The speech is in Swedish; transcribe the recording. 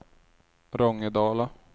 Rångedala